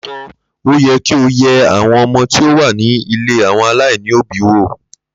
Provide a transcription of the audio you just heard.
Lóòótọ́, óyẹ kí o yẹ àwọn ọmọ tí ó wà ní ilé àwọn aláìní òbí wò